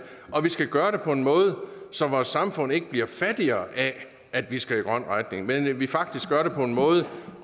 og vi skal gøre det på en måde så vores samfund ikke bliver fattigere af at vi skal i en grøn retning men at vi faktisk gør det på en måde